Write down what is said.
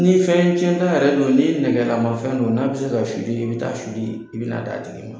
Ni fɛn tiɲɛta yɛrɛ don ni nɛgɛlama fɛn don, n'a bɛ se ka , i bɛ taa , i bɛn'a d'a tigi ma.